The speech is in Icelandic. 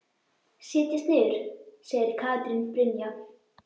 Setjast niður? segir Katrín Brynja.